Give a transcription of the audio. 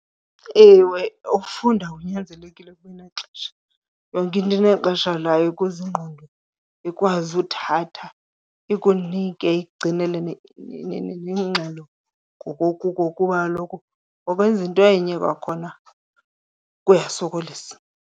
Ewe, ukufunda kunyanzelekile kube nexesha. Yonke into inexesha layo ukuze ingqondo ikwazi uthatha, ikunike, ikugcinele nengxelo ngokukuko kuba kaloku nokwenza into enye kwakhona kuyasokolisa.